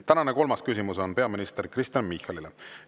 Tänane kolmas küsimus on peaminister Kristen Michalile.